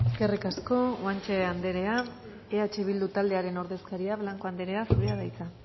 eskerrik asko guanche anderea eh bildu taldearen ordezkaria blanco anderea zurea da hitza